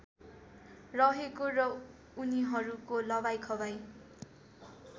रहेको र उनीहरूको लवाइखवाइ